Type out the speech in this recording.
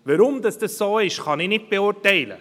Weshalb es so ist, kann ich nicht beurteilen.